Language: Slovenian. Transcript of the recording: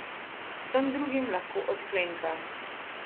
Vsem drugim lahko odklenka.